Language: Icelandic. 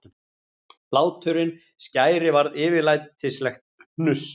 Hláturinn skæri varð yfirlætislegt hnuss.